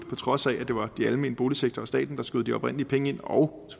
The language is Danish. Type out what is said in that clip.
trods af at det var den almene boligsektor og staten der skød de oprindelige penge ind og